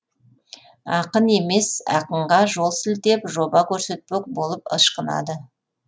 ақын емес ақынға жол сілтеп жоба көрсетпек болып ышқынады